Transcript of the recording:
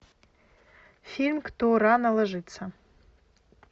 фильм кто рано ложится